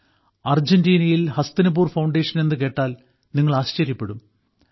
അർജന്റീനയിൽ ഹസ്തിനപൂർ ഫൌണ്ടേഷൻ എന്നു കേട്ടാൽ നിങ്ങൾ ആശ്ചര്യപ്പെടും